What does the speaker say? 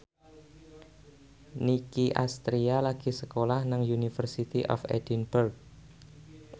Nicky Astria lagi sekolah nang University of Edinburgh